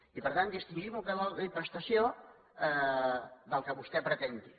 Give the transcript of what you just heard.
i per tant distingim el que vol dir prestació del que vostè pretén dir